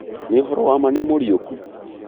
nĩ ũhoro wa ma nĩmũriũku?